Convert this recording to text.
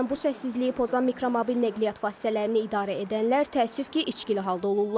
Bəzən bu səssizliyi pozan mikromobil nəqliyyat vasitələrini idarə edənlər təəssüf ki, içkili halda olurlar.